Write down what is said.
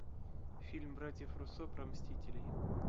фильм братьев руссо про мстителей